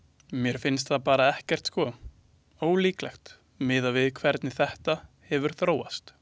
Mér finnst það bara ekkert sko, ólíklegt miðað við hvernig þetta hefur þróast.